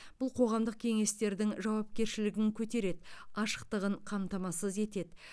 бұл қоғамдық кеңестердің жауапкершілігін көтереді ашықтығын қамтамасыз етеді